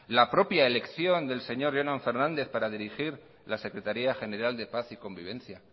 la propia elección del señor jonan fernández para dirigir la secretaría general de paz y convivencia